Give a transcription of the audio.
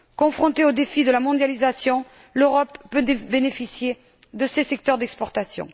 Confrontée au défi de la mondialisation, l'Europe peut tirer profit de ces secteurs d'exportation.